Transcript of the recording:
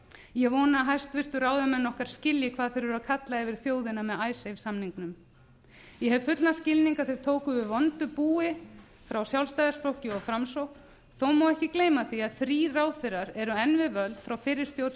ég vona að hæstvirtur ráðamenn okkar skilji hvað þeir eru að kalla yfir þjóðina með icesave samningnum ég hef fullan skilning á að þeir tóku við vondu búi frá sjálfstæðisflokki og framsókn þó má ekki gleyma því að þrír ráðherrar eru enn við völd frá fyrri stjórn